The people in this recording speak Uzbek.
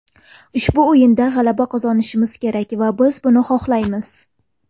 Ushbu o‘yinda g‘alaba qozonishimiz kerak va biz buni xohlaymiz.